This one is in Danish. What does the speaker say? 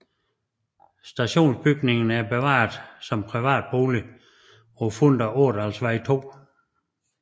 Stationsbygningen er bevaret som privat bolig på Funder Ådalsvej 2